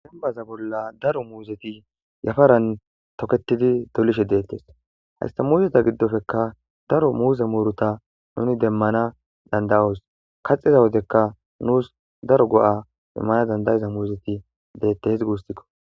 Dembbaza bolla daro muuzethi yafaran thokeththidi dolishe deeththes; haysththa muuzetha giddopekka daro muuze muruthaa nuuni demmana dandda7oos; kaxxida wodekka nuus daro go7aa immana danddayiza muuzethi deeththees guusa koo.